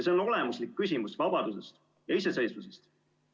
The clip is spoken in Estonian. See on olemuslik küsimus vabadusest ja iseseisvusest.